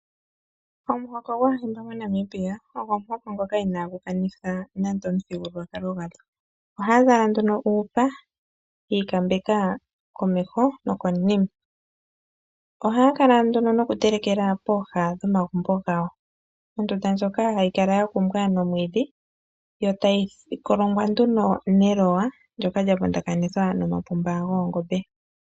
Omuhoko gwaahimba monamibia ogo omuhoko ngoka ina gukanitha nande omuthigulwakalo gwadho. Oha zala nduno uupa, yiikambeka komeho nokonima. Oha kala nduno nokutelekela pooha dhomagumbo gawo. Ondunda ndjoka hayi kala ya kumbwa nomwiidhi, yo tayi kolongwa nduno nelowa, ndyoka lya vundakanithwa no mapumba goongombe.